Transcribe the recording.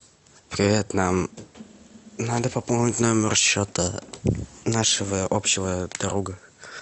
привет нам надо пополнить номер счета нашего общего друга